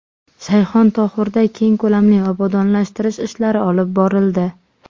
Shayxontohurda keng ko‘lamli obodonlashtirish ishlari olib borildi.